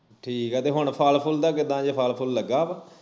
ਠੀਕ ਆ ਤੇ ਹੁਣ ਫਲ ਫੁਲ ਦਾ ਕਿੱਦਾ ਜੇ ਫਲ ਫੁਲ ਲੱਗਾ ਵਾ